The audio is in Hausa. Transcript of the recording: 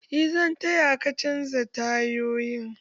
Eh zan taya ka canja tayoyin